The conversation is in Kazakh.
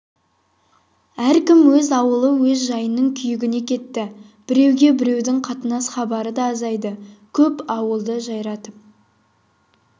әркім өз аулы өз жайының күйігіне кетті біреуге біреудің қатынас хабары да азайды көп ауылды жайратып